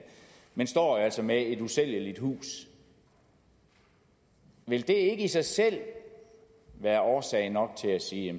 man står altså med et usælgeligt hus vil det ikke i sig selv være årsag nok til at sige